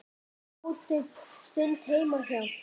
Sátum um stund heima hjá